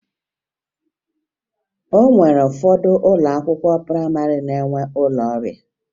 O nwere ụfọdụ ụlọ akwụkwọ prayịmarị na-enwe ụlọ ọrịa